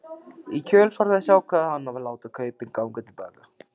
Í kjölfar þess ákvað hann að láta kaupin ganga til baka.